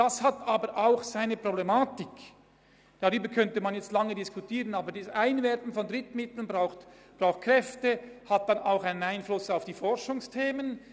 Das hat aber auch eine problematische Seite, denn das Einwerben von Drittmitteln bindet Kräfte und hat auch einen Einfluss auf die Forschungsthemen.